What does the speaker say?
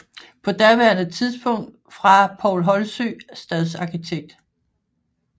På daværende tidspunkt fra Poul Holsøe stadsarkitekt